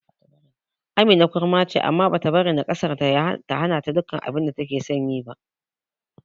Amina kurma ce, amma bata bari nakasarta ta hanata yin duk abinda takeson yi ba.